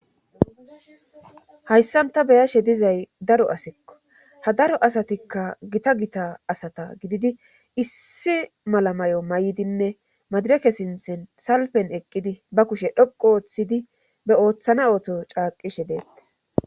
hayssanta beyashe dizay daro asikko ha daro asatikka gita gita asata gididi issi mala may7o may7idinne madireke sinthen salpen eqqidi ba kushe dhoqo ooththidi be ooththana ootho caaqishe deettes